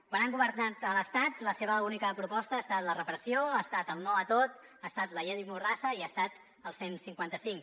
quan han governat a l’estat la seva única proposta ha estat la repressió ha estat el no a tot ha estat la llei mordassa i ha estat el cent i cinquanta cinc